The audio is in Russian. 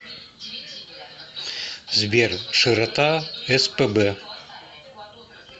сбер широта спб